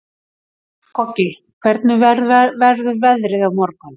Koggi, hvernig verður veðrið á morgun?